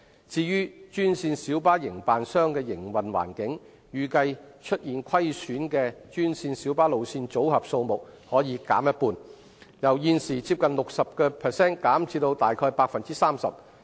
至於專線小巴營辦商的營運環境，預計出現虧損的專線小巴路線組合數目可減半，由現時接近 60% 減至大約 30%。